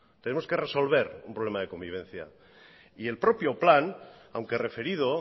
tenemos que resolver un problema de convivencia el propio plan aunque referido